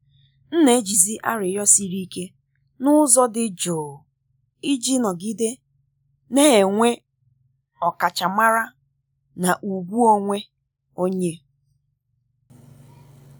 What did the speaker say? m na-ejizi arịrịọ siri ike n’ụzọ dị jụụ iji nọgide na-enwe ọkachamara na ugwu onwe onye.